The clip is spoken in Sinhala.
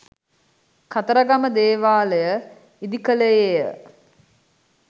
කතරගම දේවාලය ඉදි කළේය.